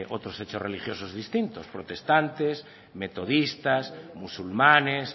otros hechos religiosos distintos protestantes metodistas musulmanes